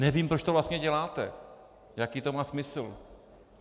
Nevím, proč to vlastně děláte, jaký to má smysl.